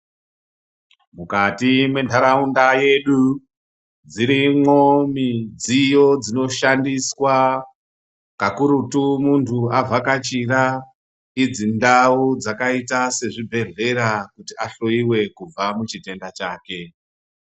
Mukati mwenharaunda yedu dzirimo midziyo dzinoshandiswa kakurutu munhu avhakachira idzi ndau dzkaita sezvibhehleya kuti ahloyiwe kubva muchitenda chake.